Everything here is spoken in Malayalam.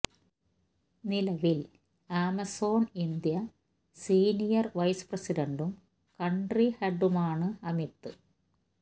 നിലവിൽ ആമസോൺ ഇന്ത്യ സീനിയർ വൈസ് പ്രസിഡ്ടും കൺട്രി ഹെഡുമാണ് അമിത്